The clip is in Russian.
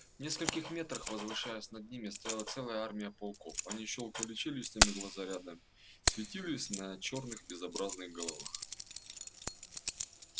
в нескольких метрах возвышаясь над ними стояла целая армия пауков они щёлкали челюстями глаза рядами светились на чёрных безобразных головах